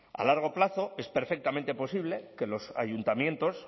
a largo plazo es perfectamente posible que los ayuntamientos